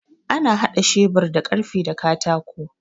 Ana haɗa shebur da karfe da katako